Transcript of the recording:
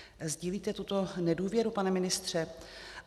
Sdílíte tuto nedůvěru, pane ministře?